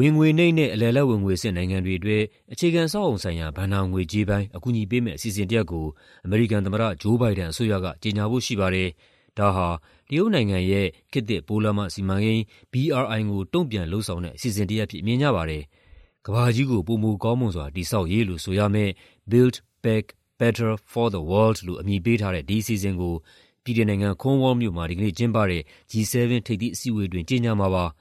ဝင်ငွေနိမ့်နဲ့ အလယ်အလတ် ဝင်ငွေအဆင့် နိုင်ငံတွေအတွက် အခြေခံအဆောက်အအုံဆိုင်ရာ ဘဏ္ဍာငွေကြေးပိုင်း အကူအညီပေးမယ့် အစီအစဉ်တရပ်ကို အမေရိကန်သမ္မတ Joe Biden အစိုးရက ကြေညာဖို့ရှိပါတယ်။ ဒါဟာ တရုတ်နိုင်ငံရဲ့ ခေတ်သစ်ပိုးလမ်းမစီမံကိန်း (BRI) ကို တုံ့ပြန်လုပ်ဆောင်တဲ့ အစီအစဉ်တရပ်အဖြစ် မြင်ကြပါတယ်။ ကမ္ဘာကြီးကို ပိုမိုကောင်းမွန်စွာ တည်ဆောက်ရေးလို့ ဆိုရမယ့် "Build Back Better for the World" လို့ အမည်ပေးထားတဲ့ ဒီအစီအစဉ်ကို ဗြိတိန်နိုင်ငံ၊ Cornwall မြို့မှာ ဒီကနေ့ကျင်းပတဲ့ G-7 ထိပ်သီးအစည်းအဝေးအတွင်း ကြေညာမှာပါ။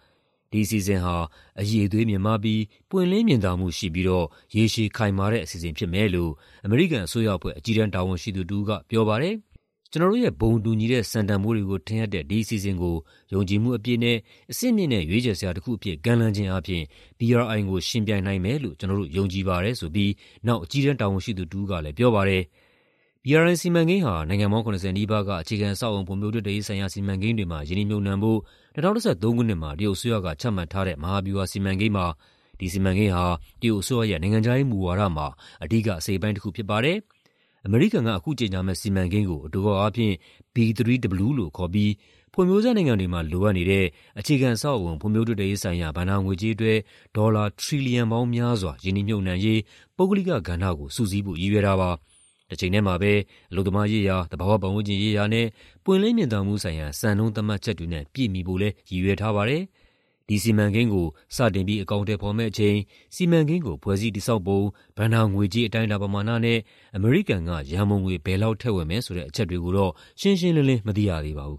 ဒီအစီအစဉ်ဟာ "အရည်အသွေးမြင့်မားပြီး ပွင့်လင်းမြင်သာမှု ရှိပြီးတော့ ရေရှည်ခိုင်မာ" တဲ့ အစီအစဉ်ဖြစ်မယ်လို့ အမေရိကန်အစိုးရအဖွဲ့ အကြီးတန်း တာဝန်ရှိသူတဦးက ပြောပါတယ်။ "ကျနော်တို့ရဲ့ ဘုံတူညီတဲ့ စံတန်ဖိုးတွေကို ထင်ဟပ်တဲ့ ဒီအစီအစဉ်ကို ယုံကြည်မှုအပြည့်နဲ့ အဆင့်မြင့်တဲ့ ရွေးချယ်စရာတခုအဖြစ် ကမ်းလှမ်းခြင်းအားဖြင့် BRI ကို ယှဉ်ပြိုင်နိုင်မယ်လို့ ကျနော်တို့ ယုံကြည်ပါတယ်" ဆိုပြီးနောက် အကြီးတန်း တာဝန်ရှိသူ တဦးကလည်း ပြောပါတယ်။ BRI စီမံကိန်းဟာ နိုင်ငံပေါင်း ၇၀ နီးပါးက အခြေခံအဆောက်အအုံ ဖွံ့ဖြိုးတိုးတက်ရေးဆိုင်ရာ စီမံကိန်းတွေမှာ ရင်းနှီးမြှုပ်နှံဖို့ ၂၀၁၃ ခုနှစ်မှာ တရုတ်အစိုးရက ချမှတ်ထားတဲ့ မဟာဗျူဟာစီမံကိန်းပါ။ ဒီစီမံကိန်းဟာ တရုတ်အစိုးရရဲ့ နိုင်ငံခြားရေးမူဝါဒမှာ အဓိက အစိတ်အပိုင်းတခု ဖြစ်ပါတယ်။ အမေရိကန်က အခုကြေညာမယ့် စီမံကိန်းကို အတိုကောက်အားဖြင့် "B3W" လို့ခေါ်ပြီး ဖွံ့ဖြိုးဆဲနိုင်ငံတွေမှာ လိုအပ်နေတဲ့ အခြေခံအဆောက်အအုံ ဖွံ့ဖြိုးတိုးတက်ရေးဆိုင်ရာ ဘဏ္ဍာငွေကြေးအတွက် ဒေါ်လာ ထရီလီယံပေါင်းများစွာ ရင်းနှီးမြှုပ်နှံရေး ပုဂ္ဂလိကကဏ္ဍကို စုစည်းဖို့ ရည်ရွယ်တာပါ။ တချိန်တည်းမှာပဲ အလုပ်သမားရေးရာ၊ သဘာဝပတ်ဝန်းကျင်ရေးရာနဲ့ ပွင့်လင်းမြင်သာမှုဆိုင်ရာ စံနှုန်းသတ်မှတ်ချက်တွေနဲ့ ပြည့်မီဖို့လည်း ရည်ရွယ်ထားပါတယ်။ ဒီစီမံကိန်းကို စတင်အကောင်အထည်ဖော်မယ့်အချိန်၊ စီမံကိန်းကို ဖွဲ့စည်းတည်ဆောက်ပုံ၊ ဘဏ္ဍာငွေကြေး အတိုင်းအတာ ပမာဏနဲ့ အမေရိကန်က ရန်ပုံငွေ ဘယ်လောက်ထည့်ဝင်မယ်ဆိုတဲ့ အချက်တွေကိုတော့ ရှင်းရှင်းလင်းလင်း မသိရသေးပါဘူး